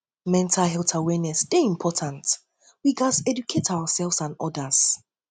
mental health awareness dey important dey important we gats educate ourselves and odas